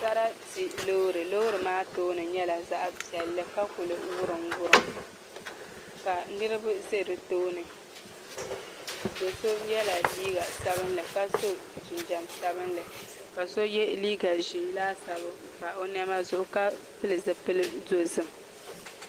Sarati loori loori maa tooni nyɛla zaɣ piɛlli ka kuli wurim wurim ka niraba ʒɛ di tooni do so yɛla liiga sabinli ka so jinjɛm sabinli ka so yɛ liiga ʒiɛ laasabu n pa o niɛma zuɣu ka pili zipili dozim